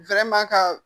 ka